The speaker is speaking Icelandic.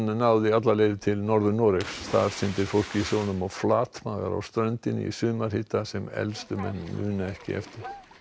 náði alla leið til Norður Noregs þar syndir fólk í sjónum og flatmagar á ströndinni í sumarhita sem elstu menn muna ekki eftir